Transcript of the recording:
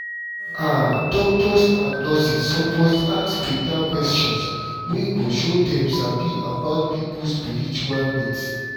ah doctors and nurses suppose ask beta questions wey go show dem sabi about people spiritual needs